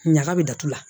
Ɲaga bɛ datugu la